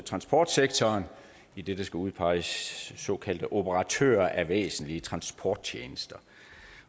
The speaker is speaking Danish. transportsektoren idet der skal udpeges såkaldte operatører af væsentlige transporttjenester